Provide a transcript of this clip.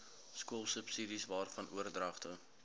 skoolsubsidies waarvan oordragte